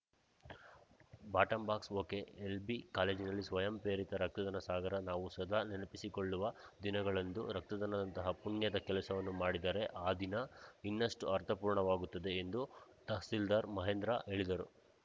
ಬಾಟಂಬಾಕ್ಸಒಕೆಎಲ್‌ಬಿ ಕಾಲೇಜಿನಲ್ಲಿ ಸ್ವಯಂಪ್ರೇರಿತ ರಕ್ತದಾನ ಸಾಗರ ನಾವು ಸದಾ ನೆನಪಿಸಿಕೊಳ್ಳುವ ದಿನಗಳಂದು ರಕ್ತದಾನದಂತಹ ಪುಣ್ಯದ ಕೆಲಸವನ್ನು ಮಾಡಿದರೆ ಆ ದಿನ ಇನ್ನಷ್ಟುಅರ್ಥಪೂರ್ಣವಾಗುತ್ತದೆ ಎಂದು ತಹಸೀಲ್ದಾರ್‌ ಮಹೇಂದ್ರ ಹೇಳಿದರು